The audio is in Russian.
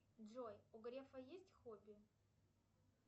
джой у грефа есть хобби